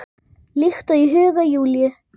Líkt og í huga Júlíu.